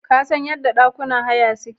Kasan yadda ɗakunan haya suke?